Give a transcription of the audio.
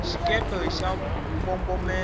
xikepe xa mbombomela